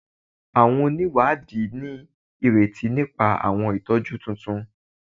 Awọn oniwadi ni ireti nipa awọn itọju tuntun